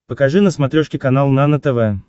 покажи на смотрешке канал нано тв